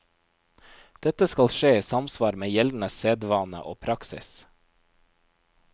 Dette skal skje i samsvar med gjeldende sedvane og praksis.